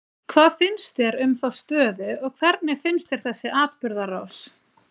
Hvað finnst þér um þá stöðu og hvernig finnst þér þessi atburðarás?